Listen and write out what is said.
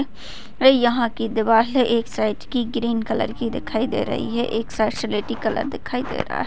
यहा की दिवले एक साइड की ग्रीन कलर की दिखाई दे रही है एक साइड सिलेटी कलर दिखाई दे रहा है।